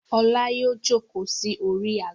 Ọlá yóò jókòó sí orí àga.